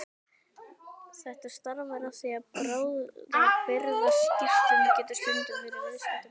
Þetta stafar af því að bráðabirgðaskírteini getur stundum verið viðskiptabréf.